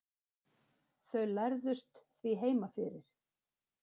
Þau lærðust því heima fyrir.